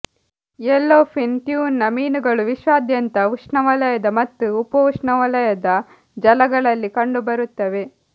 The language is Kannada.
ಯೆಲ್ಲೊಫಿನ್ ಟ್ಯೂನ ಮೀನುಗಳು ವಿಶ್ವಾದ್ಯಂತ ಉಷ್ಣವಲಯದ ಮತ್ತು ಉಪೋಷ್ಣವಲಯದ ಜಲಗಳಲ್ಲಿ ಕಂಡುಬರುತ್ತವೆ